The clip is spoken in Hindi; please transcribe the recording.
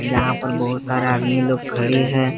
यहां पर बहुत सारा आदमी लोग खड़े है।